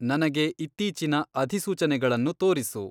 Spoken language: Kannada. ನನಗೆ ಇತ್ತೀಚಿನ ಅಧಿಸೂಚನೆಗಳನ್ನು ತೋರಿಸು